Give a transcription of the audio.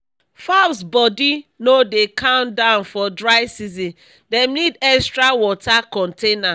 fowls body no dey calm down for dry season dem need extra water container